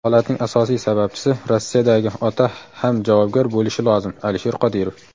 Holatning asosiy sababchisi - Rossiyadagi ota ham javobgar bo‘lishi lozim – Alisher Qodirov.